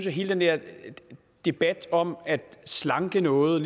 at hele den der debat om at slanke noget